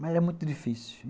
Mas era muito difícil.